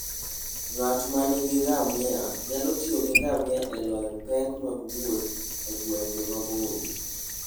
Ng'at ma nigi ngamia nyalo tiyo gi ngamia e loyo pek mag wuoth e gwenge maboyo.